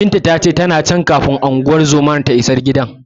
Binta ta ce, tana can, kafin unguwar zomar ta isa gidan jiya.